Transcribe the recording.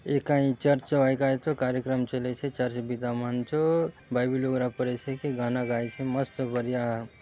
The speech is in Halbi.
ए काए चर्च ओ आए काएचो कार्यक्रम चलेछे चर्च बिदामन चो भाई वीडियोग्राफर असे कि गाना गाएछे मस्त बढ़िया --